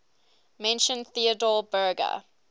mentioned theodor berger